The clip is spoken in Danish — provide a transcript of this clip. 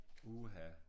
Uha